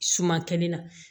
Suma kɛnɛ na